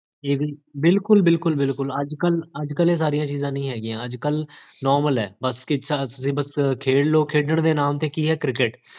ਬਿਲਕੁਲ ਬਿਲਕੁਲ ਬਿਲਕੁਲ, ਅੱਜਕਲ ਅੱਜਕਲ ਇਹ ਸਾਰੀਆਂ ਚੀਜ਼ਾਂ ਨੀ ਹੈਗੀਆਂ ਅੱਜਕਲ normal ਹੈ ਬੱਸ ਤੁਸੀਂ ਖੇਡ੍ਲੋ, ਖੇਡ੍ੜਨ ਦੇ ਨਾਮ ਤੇ ਕੀ ਹੈ? ਕ੍ਰਿਕਕੇਟ